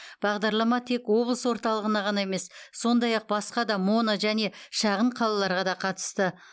бағдарлама тек облыс орталығына ғана емес сондай ақ басқа да моно және шағын қалаларға да қатысты